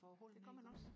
det gør man også